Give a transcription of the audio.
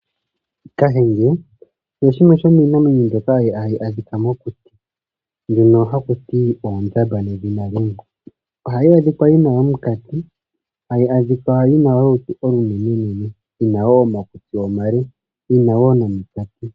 Kahenge oyo shimwe shomiinamwenyo mbyoka ha yi adhikwa mokuti, mbyono ha ku ti oondjamba nedhina limwe. Oha yi adhikwa yi na omukati, hayi adhikwa yi na olutu olunene nene, yi na woo omakutsi omale, yi na woo nomukati.